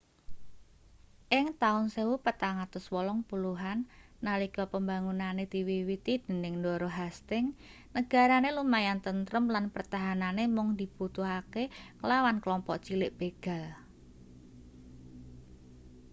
ing taun 1480an nalika pembangunane diwiwiti dening ndara hastings negarane lumayan tentrem lan pertahanane amung dibutuhne nglawan kelompok cilik begal